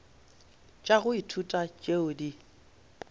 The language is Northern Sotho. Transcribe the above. tša go ithuta tšeo di